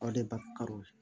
O de bakari